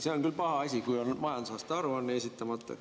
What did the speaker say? See on küll paha asi, kui on majandusaasta aruanne esitamata.